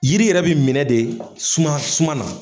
Jiri yɛrɛ bi minɛ de suma suma na.